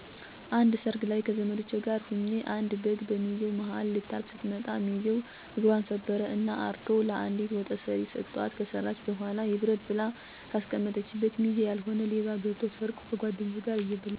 አንድ ሰርግ ላይ ከዘመዶቸ ጋር ሁኘ አንድ በግ በሚዜው ማሀል ልታልፍ ስትመጣ ሚዚው እግፘን ሰበረ እና አርዶ ለአንዲት ወጥ ሰሪ ሰተዋት ከሰራች በኋላ ይብረድ ብላ ከአስቀመጠችበት ሚዜ ያልሆነ ሌባ ገብቶ ሰርቆ ከጓድኞቹ ጋር እየበላ ሚዜዎች በጥቆማ ሲድርሱበት የነበረው ትግል በኋላ ደግሞ በቅርርት እና በሽለላ የነበረው ስድብ እስካሁን አእምሮየን ያስደስተዋል። እስካሁን እንዳረሳው ያደረግኝ ደግሞ ትግሉ፣ ፉከራው እና ቅርርቶው እንዲሁም በዚህ ሁሉ ነገር ጠብ እና ቂም አለመኖሩ ነው።